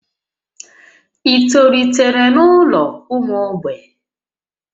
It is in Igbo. Ị tolitere n'ụlọ ụmụ mgbei?